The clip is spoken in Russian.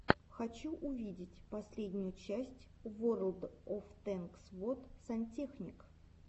хочу увидеть последнюю часть ворлд оф тэнкс вот сантехник